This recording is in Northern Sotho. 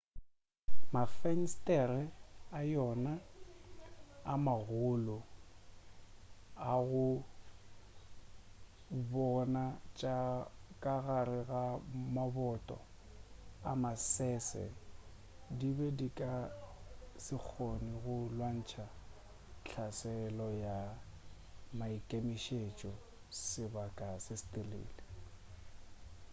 mafenstere a yona a magolo a go bona tša ka gare le maboto a masese di be di ka se kgone go lwantšha hlaselo ya maikemišetšo sebaka se setelele